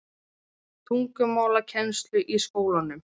tungumálakennslu í skólanum.